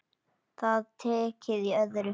Það er tekið í öðru.